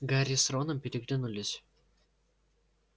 гарри с роном переглянулись